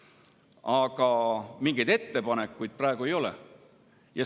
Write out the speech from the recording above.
Aga mingeid ettepanekuid praegu ei ole.